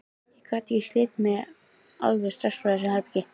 Ég gat ekki slitið mig alveg strax frá þessu herbergi.